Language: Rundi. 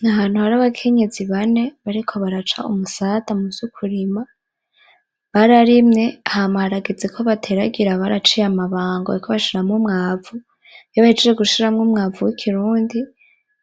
N'ahantu hari abakenyezi bane, bariko baraca umusada muvy'ukurima, bararimye hama harageze ko bateragira baraciye amabango, bariko bashiramwo umwavu iyo bahejeje gushiramwo umwavu w'ikirundi